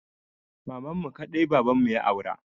Mamanmu kaɗai babanmu ya aura.